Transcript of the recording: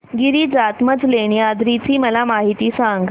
गिरिजात्मज लेण्याद्री ची मला माहिती सांग